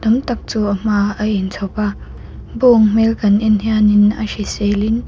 tam tak chu a hmaah a in chhawp a bawng hmel kan en hian in a hrisel in--